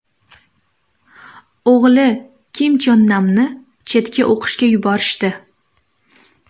O‘g‘li Kim Chon Namni chetga o‘qishga yuborishdi.